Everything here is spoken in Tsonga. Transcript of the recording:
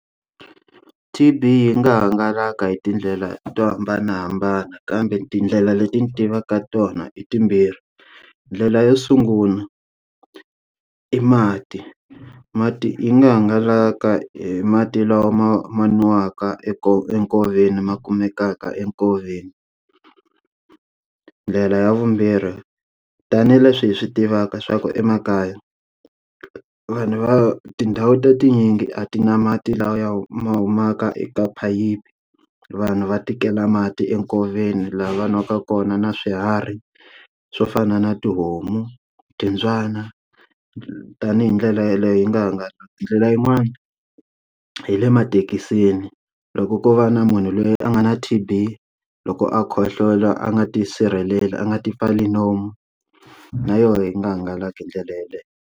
T_B yi nga hangalaka hi tindlela to hambanahambana kambe tindlela leti ni tivaka tona i timbirhi ndlela yo sungula i mati, mati yi nga hangalaka hi mati lawa ma nwiwaka eka enkoveni ma kumekaka enkoveni. Ndlela ya vumbirhi tanihileswi hi swi tivaka swa ku emakaya vanhu va tindhawu ta tinyingi a ti na mati la ya ma humaka eka phayiphi vanhu va tikela mati enkoveni lava nwaka kona na swiharhi swo fana na tihomu timbyana tanihi ndlela yaleyo yi nga hangalaki hi ndlela yin'wani hi le emathekisini loko ko va na munhu loyi a nga na T_B loko a khohlola a nga tisirhelela a nga ti pfali nomu na yona yi nga hangalaki hi ndlela yeleyo.